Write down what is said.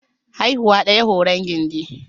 Haihuwa ɗaya horon gindi.